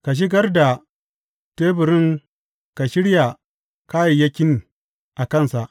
Ka shigar da teburin ka shirya kayayyakin a kansa.